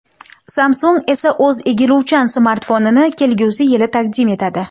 Samsung esa o‘z egiluvchan smartfonini kelgusi yili taqdim etadi.